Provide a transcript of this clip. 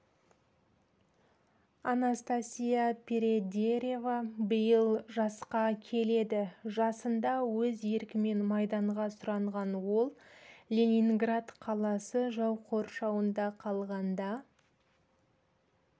анастасия передереева биыл жасқа келеді жасында өз еркімен майданға сұранған ол ленинград қаласы жау қоршауында қалғанда